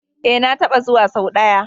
E, na taɓa zuwa sau ɗaya.